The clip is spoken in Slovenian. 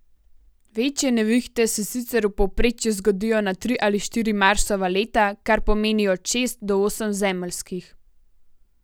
Večje nevihte se sicer v povprečju zgodijo na tri ali štiri Marsova leta, kar pomeni od šest do osem zemeljskih.